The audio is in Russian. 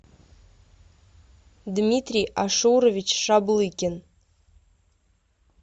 дмитрий ашурович шаблыкин